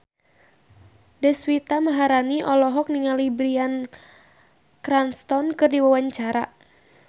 Deswita Maharani olohok ningali Bryan Cranston keur diwawancara